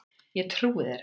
Ég trúi þér ekki!